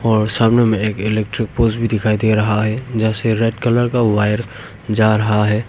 और सामने में एक इलेक्ट्रिक पोल्स दिखाई दे रहा है जैसे रेड कलर का वायर जा रहा है।